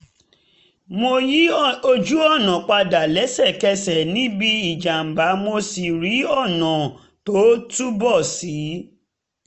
mo yí ojú-ọ̀nà padà lẹ́sẹ̀kẹsẹ̀ níbi ìjàm̀bá mo sì rí ọ̀nà tó túbọ̀ ṣí